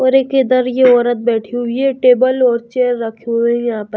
ओर एक इधर ये औरत बैठी हुई है टेबल और चेयर रखी हुए हैं यहां प--